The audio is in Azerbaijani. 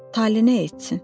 Tale nə etsin?